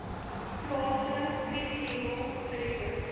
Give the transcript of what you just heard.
plase vlieghengel geriewe